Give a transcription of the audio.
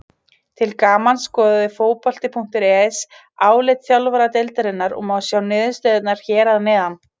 Til gamans skoðaði Fótbolti.net álit þjálfara deildarinnar og má sjá niðurstöðuna hér að neðan.